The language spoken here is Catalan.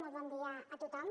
molt bon dia a tothom